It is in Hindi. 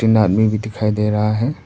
आदमी भी दिखाई दे रहा है।